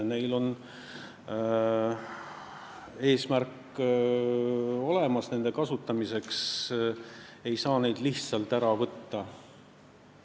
Meil on olemas eesmärk nende kasutamiseks, neid ei saa lihtsalt ära võtta.